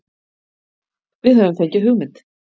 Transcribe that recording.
Við höfum fengið hugmynd.